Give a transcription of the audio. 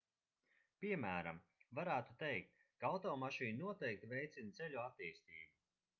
piemēram varētu teikt ka automašīna noteikti veicina ceļu attīstību